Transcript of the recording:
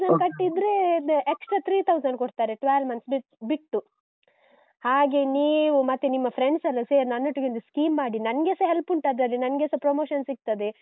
ಕಟ್ಟಿದ್ರೆ extra three thousand ಕೊಡ್ತಾರೆ, twelve month ಬಿಟ್ಟು. ಹಾಗೆ, ನೀವು ಮತ್ತು ನಿಮ್ಮ friends ಎಲ್ಲಾ ಸೇರಿ ನನ್ನೊಟ್ಟಿಗೊಂದು scheme ಮಾಡಿ.ನನ್ಗೆಸ help ಉಂಟು ಅದ್ರಲ್ಲಿ ನನ್ಗೆಸ promotion ಸಿಗ್ತದೆ.